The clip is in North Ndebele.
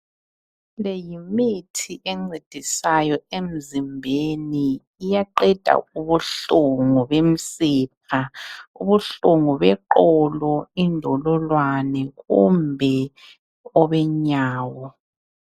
Leyimithi encedisayo emzimbeni iyaqeda ubuhlungu bemsipha ubuhlungu beqolo indololwane kumbe obenyawo.